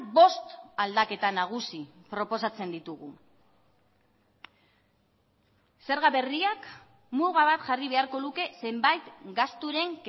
bost aldaketa nagusi proposatzen ditugu zerga berriak muga bat jarri beharko luke zenbait gasturen